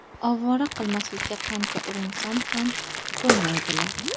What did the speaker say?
Ovora qilmaslikka qancha urinsam ham ko‘nmaydilar.